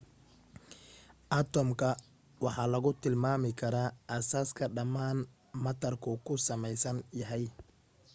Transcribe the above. atomka waxa lagu tilmaami karaa aasaaska dhammaan maatarku ka samaysan yahay